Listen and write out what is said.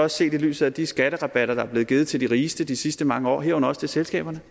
set i lyset af de skatterabatter der er blevet givet til de rigeste i de sidste mange år herunder også til selskaberne